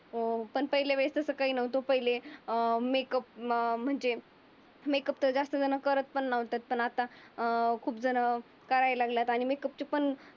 अं पण पहिल्या वेळेस तसं काही नव्हतं. पहिले अं मेकअप म म्हणजे मेकअप त ज्यास्त झण करत नव्हते. पण आता अं खूप झण करायला लागल्यात आणि मेकअपचे पण